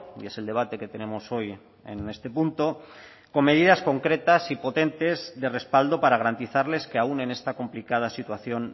y es el debate que tenemos hoy en este punto con medidas concretas y potentes de respaldo para garantizarles que aun en esta complicada situación